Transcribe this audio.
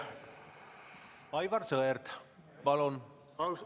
Aivar Sõerd, palun!